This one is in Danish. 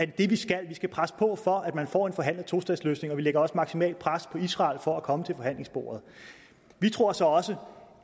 det vi skal vi skal presse på for at man får en forhandlet tostatsløsning og vi lægger også maksimalt pres på israel for at komme til forhandlingsbordet vi tror så også